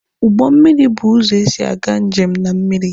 Ụgbọ mmiri bụ ụzọ esi aga njem na mmiri.